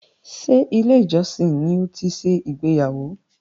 Ṣé ilé-ìjọsìn ni ó ti ṣe ìgbéyàwó?